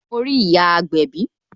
Mo rí ìyá agbẹ̀bí